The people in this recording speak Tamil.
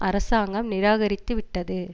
அரசாங்கம் நிராகரித்து விட்டது